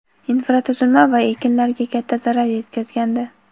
infratuzilma va ekinlarga katta zarar yetkazgandi.